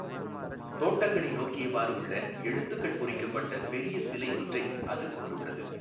தோட்டங்களை நோக்கியவாறு உள்ள எழுத்துகள் பொறிக்கப்பட்ட பெரிய சிலை ஒன்றை அது கொண்டுள்ளது.